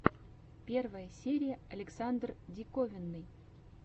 первая серия александр диковинный